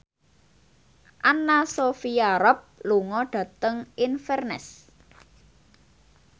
Anna Sophia Robb lunga dhateng Inverness